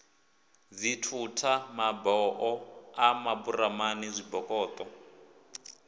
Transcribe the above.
dzithutha maboho a maburamani zwibokoṱo